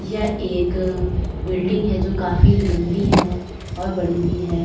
यह एक बिल्डिंग है जो काफ़ी लंबी है और बड़ी भी है।